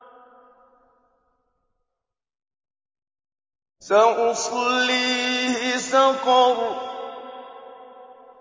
سَأُصْلِيهِ سَقَرَ